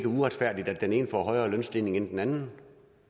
uretfærdigt at den ene får højere lønstigning end den anden